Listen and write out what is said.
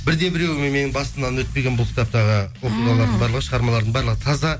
бір де біреуі менің басымнан өтпеген бұл кітаптағы оқиғалардың барлығы шығармалардың барлығы таза